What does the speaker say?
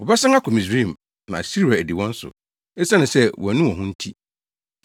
“Wɔbɛsan akɔ Misraim, na Asiria adi wɔn so, esiane sɛ wɔannu wɔn ho nti.